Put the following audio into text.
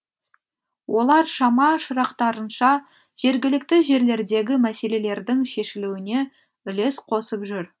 олар шама шарықтарынша жергілікті жерлердегі мәселелердің шешілуіне үлес қосып жүр